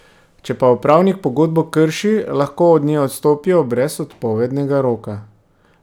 Če pa upravnik pogodbo krši, lahko od nje odstopijo brez odpovednega roka.